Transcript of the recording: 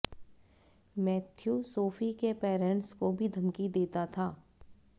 Matthew Sophie के parents को भी धमकी देता था